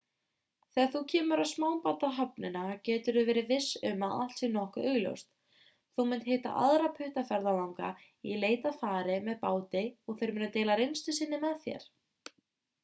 þegar þú kemur á smábátahöfnina geturðu verið viss um að allt sé nokkuð augljóst þú munt hitta aðra puttaferðalanga í leit að fari með báti og þeir munu deila reynslu sinni með þér